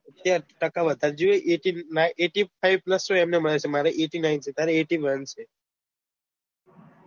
ત્યાં ટકા વધારે જોઈ એ eighty five pulse જેટલા જોઈએ મારે તો eight nine છે તારે eighty one છે